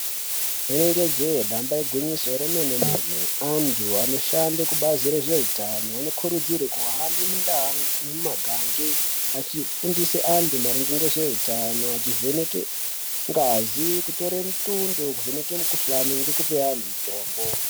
Rinenge je damba igwinyiso remene mene antu anoshande kubazi rezveutano vanokurudzirwe kuhambe mundau nemumangange achifundise antu maringe ngezveutano achivheneke ngazi kutore mutundo kuvheneke mukuhlane ngekupe anhu mutombo.